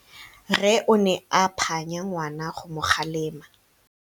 Rre o ne a phanya ngwana go mo galemela.